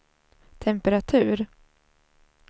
temperatur